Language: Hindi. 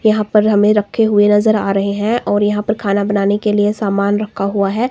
यहां पर हमें रखे हुए नजर आ रहे हैं और यहां पर खाना बनाने के लिए सामान रखा हुआ है।